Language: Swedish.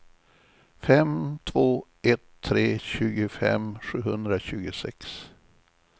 fem två ett tre tjugofem sjuhundratjugosex